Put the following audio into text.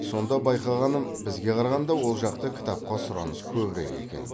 сонда байқағаным бізге қарағанда ол жақта кітапқа сұраныс көбірек екен